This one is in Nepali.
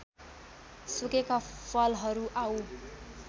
सुकेका फलहरू आउँ